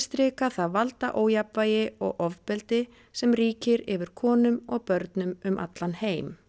það valdaójafnvægi og ofbeldi sem ríkir yfir konum og börnum um allan heim